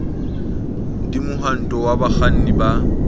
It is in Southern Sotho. d mohwanto wa bakganni ba